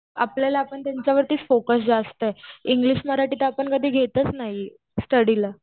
आपल्याला आपण त्यांच्यावरतीच फोकस जास्त आहे. इंग्लिश, मराठी तर आपण कधी घेतच नाही स्टडीला.